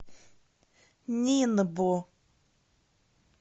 нинбо